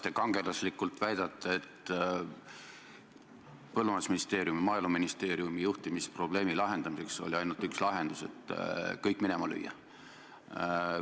Te kangelaslikult väidate, et Maaeluministeeriumi juhtimisprobleemi lahendamiseks oli ainult üks lahendus: kõik minema lüüa.